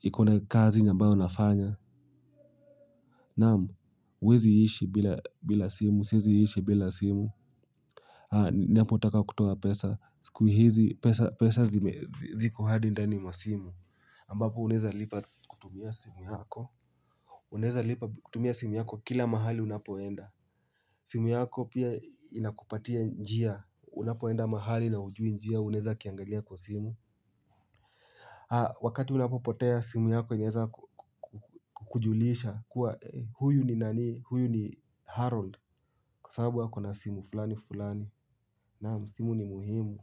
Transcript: ikona kazi ambayo nafanya. Naam, huwezi ishi bila simu, siwezi ishi bila simu. Napotaka kutoa pesa, siku hizi pesa ziko hadi ndani mwa simu ambapo uneza lipa kutumia simu yako. Uneza lipa kutumia simu yako kila mahali unapoenda. Simu yako pia inakupatia njia, unapoenda mahali na hujui njia unaweza kiangalia kwa simu. Wakati unapopotea simu yako inaweza kukujulisha kuwa huyu ni nani, huyu ni Harold. Kwa sababu ya kona simu fulani fulani. Naam, simu ni muhimu.